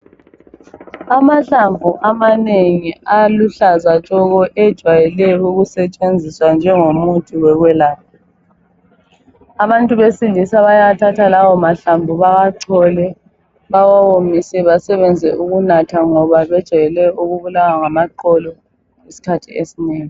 Amahlamvu amanengi aluhlaza tshoko ejwayele ukusetshenziswa njengomuthi wokwelapha. Abantu besilisa bayathatha lamahlamvu bewachole bawawomise basebenze ukunatha ngoba bejayele ukubulawa ngamaqolo iskhathi esinengi.